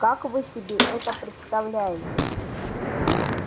как вы себе это представляете